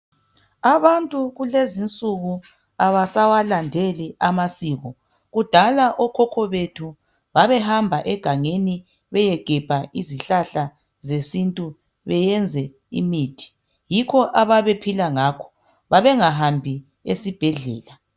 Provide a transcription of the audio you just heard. Abantu kulezinsuku abasawalandeli amasiko kudala okhokho bethu babe hamba egangeni beye gebha izihlahla zesintu beyenze imithi yikho ababephila ngakho babengahambi esibhedlela